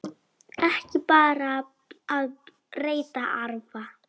Ekki bara að reyta arfa!